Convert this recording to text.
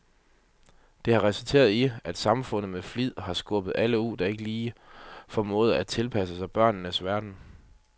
Det har resulteret i, at samfundet med flid har skubbet alle ud, der ikke lige formåede at tilpasse sig bøgernes verden.